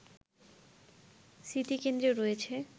স্মৃতিকেন্দ্রে রয়েছে